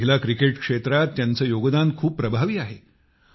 महिला क्रिकेट क्षेत्रात त्यांचे योगदान खूप प्रभावी आहे